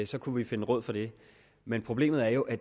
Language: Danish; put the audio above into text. så kunne vi finde råd for det men problemet er jo at